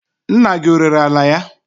Nna gi ọrere ala ya?